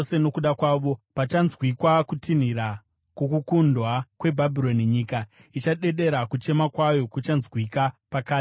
Pachanzwikwa kutinhira kwokukundwa kweBhabhironi, nyika ichadedera; kuchema kwayo kuchanzwikwa pakati pamarudzi.